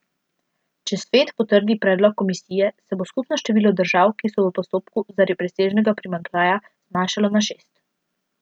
Če Svet potrdi predlog komisije, se bo skupno število držav, ki so v postopku zaradi presežnega primanjkljaja, zmanjšalo na šest.